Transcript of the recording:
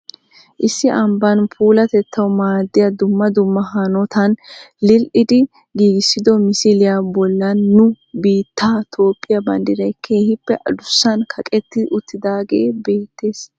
Issi ambbaa puulatettaw maaddiya dumma dumma hanotan lil"idi giigissido misiliyaa bollan nu biittee Toophe banddiray keehippe addussan kaqqeti uttidaage beettees.